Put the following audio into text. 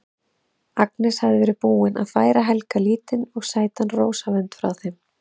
Agnes hafði verið búin að færa Helga lítinn og sætan rósavönd frá þeim